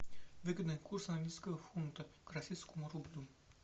выгодный курс английского фунта к российскому рублю